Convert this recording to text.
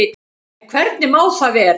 En hvernig má það vera?